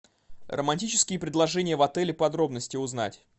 романтические предложения в отеле подробности узнать